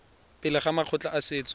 pele ga makgotla a setso